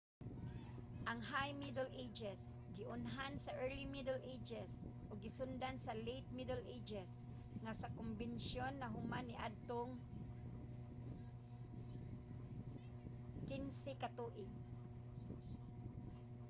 ang high middle ages giunhan sa early middle ages ug gisundan sa late middle ages nga sa kombensyon nahuman niadtong 1500